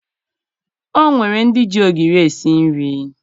O nwere ndị ji ogiri esi nri